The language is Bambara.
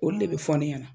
Olu de bɛ fɔ ne ɲɛna